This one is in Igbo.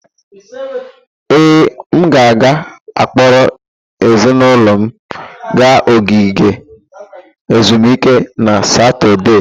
Ee, m ga-akpọrọ ezinụlọ m gaa ogige ezumike na Satọde.